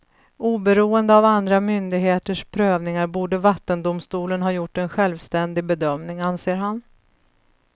Oberoende av andra myndigheters prövningar borde vattendomstolen ha gjort en självständig bedömning, anser han.